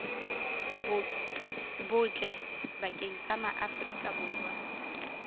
botle bakeng sa maaforika borwa